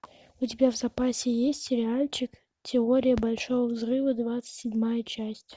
у тебя в запасе есть сериальчик теория большого взрыва двадцать седьмая часть